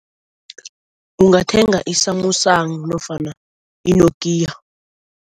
Ungathenga i-Samsung nofana i-Nokia.